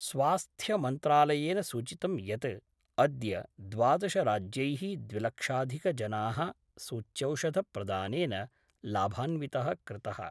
स्वास्थ्यमन्त्रालयेन सूचितं यत् अद्य द्वादशराज्यैः द्विलक्षाधिकजना: सूच्यौषधप्रदानेन: लाभान्वित: कृत:।